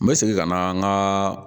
N bɛ segin ka na n ka